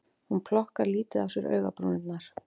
Hún plokkar lítið á sér augabrúnirnar